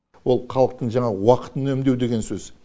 ол халықтың жаңағы уақытын үнемдеу деген сөз